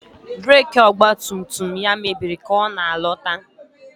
Breeki ọgba tum tum ya mebiri ka ọ na-alọta.